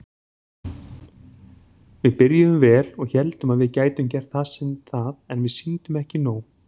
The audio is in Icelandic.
Við byrjuðum vel og héldum að við gætum gert það en við sýndum ekki nóg.